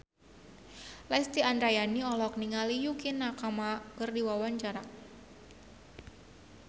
Lesti Andryani olohok ningali Yukie Nakama keur diwawancara